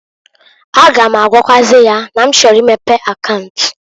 A ga m agwakwaazị ya na m chọrọ imepe akaunt.